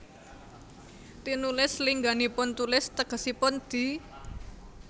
Tinulis lingganipun tulis tegesipun di